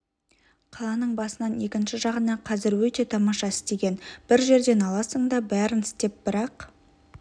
қаланың басынан екінші жағына қазір өте тамаша істеген бір жерден аласың да бәрін істеп бірақ